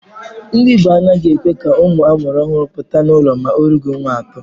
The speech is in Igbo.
Ndi igbo a naghị ekwe ka ụmụ amuru ọhụrụ pụta n’ụlọ ma olughi ọnwa atọ.